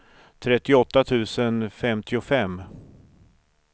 trettioåtta tusen femtiofem